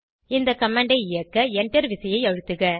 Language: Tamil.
இந்த கமாண்ட் ஐ இயக்க Enter விசையை அழுத்துக